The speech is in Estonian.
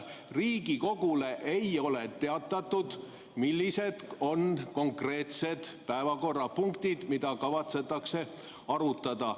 Riigikogule ei ole teatatud, millised on konkreetsed päevakorrapunktid, mida kavatsetakse arutada.